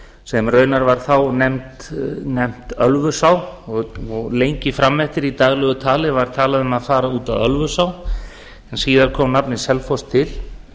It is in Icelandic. sem raunar var þá nefnt ölfusá og lengi fram eftir í daglegu tali var talað um að fara út að ölfusá en síðar kom nafnið selfoss til